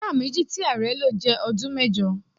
Sáà méjì tí ààrẹ́ lo jẹ́ ọdún mẹ́jọ.